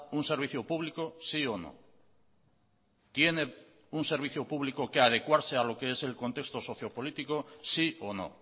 un servicio público sí o no tiene un servicio público que adecuarse a lo que es el contexto socio político sí o no